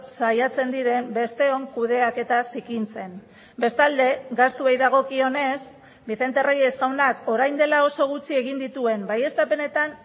saiatzen diren besteon kudeaketa zikintzen bestalde gastuei dagokionez vicente reyes jaunak orain dela oso gutxi egin dituen baieztapenetan